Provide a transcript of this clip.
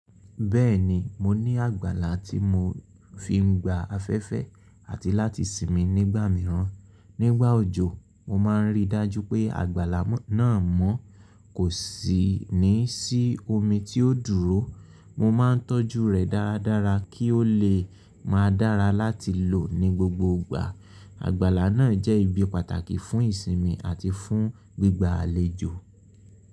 Bẹ́ẹ̀ni, mo ní àgbàlá tí mo fi ń gba afẹ́fẹ́ àti láti sinmi nígbà mìíràn. Nígbà òjò, mo máa ń rí dájú pé àgbàlá náà mọ́ kò sì ní sí omi tí ó dúró. Mo máa ń tọ́jú rẹ̀ dáradára kí ó lè máa dára láti lò ní gbogbo ìgbà. Àgbàlá náà jẹ́ ibi pàtàkì fún ìsinmi àti fún gbígba àlejò.